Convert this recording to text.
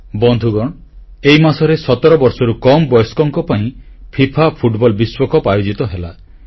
ବନ୍ଧୁଗଣ ଏହି ମାସରେ ସତର ବର୍ଷରୁ କମ୍ ବୟସ୍କଙ୍କ ପାଇଁ ଫିଫା ଫୁଟବଲ ବିଶ୍ୱକପ୍ ଆୟୋଜିତ ହେଲା